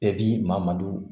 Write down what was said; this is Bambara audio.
Bɛɛ b'i madon